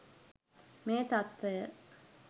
මේ තත්ත්වය